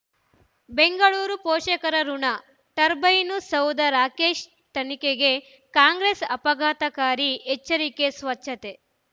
ಬೆಂಗಳೂರು ಪೋಷಕರಋಣ ಟರ್ಬೈನು ಸೌಧ ರಾಕೇಶ್ ತನಿಖೆಗೆ ಕಾಂಗ್ರೆಸ್ ಆಘಾತಕಾರಿ ಎಚ್ಚರಿಕೆ ಸ್ವಚ್ಛತೆ